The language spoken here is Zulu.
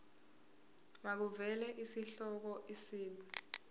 makuvele isihloko isib